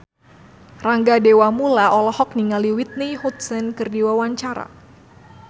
Rangga Dewamoela olohok ningali Whitney Houston keur diwawancara